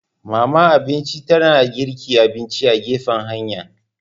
Mama abinci ta na girka abinci a gefen hanya.